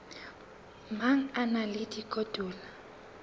mang a na le dikotola